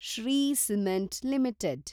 Shri cement limited